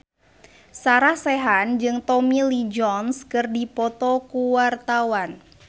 Sarah Sechan jeung Tommy Lee Jones keur dipoto ku wartawan